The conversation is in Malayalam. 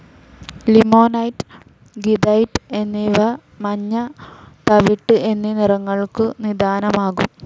ലിമൊണൈറ്റ്, ഗീഥൈറ്റ് എന്നിവ മഞ്ഞ, തവിട്ട് എന്നീ നിറങ്ങൾക്കു നിദാനമാകും.